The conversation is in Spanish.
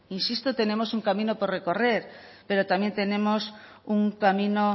insisto tenemos un camino por recorrer pero también tenemos un camino